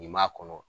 Nin m'a kɔnɔ